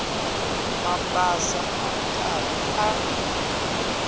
mabasa a ri karhi a